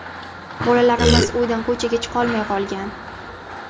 Bolalarimiz uydan ko‘chaga chiqolmay qolgan.